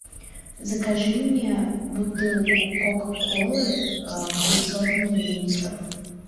закажи мне бутылку кока колы пятьсот миллилитров